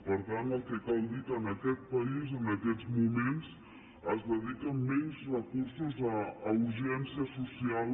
per tant el que cal dir és que en aquest país en aquests moments el conseller cleries el govern dediquen menys recursos a urgència social